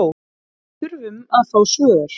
Við þurfum að fá svör